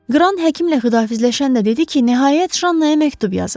Qran həkimlə xidafizləşən də dedi ki, nəhayət Janna-ya məktub yazıb.